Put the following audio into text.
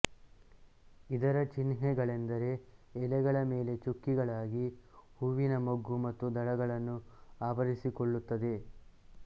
ಇದರ ಚಿಹ್ನೆಗಳೆಂದರೆ ಎಲೆಗಳ ಮೇಲೆ ಚುಕ್ಕೆಗಳಾಗಿ ಹೂವಿನ ಮೊಗ್ಗು ಮತ್ತು ದಳಗಳನ್ನು ಆವರಿಸಿಕೊಳ್ಳುತ್ತದೆ